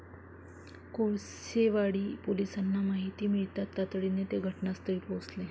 कोळसेवाडी पोलिसांना माहिती मिळताच तातडीने ते घटनास्थळी पोहचले.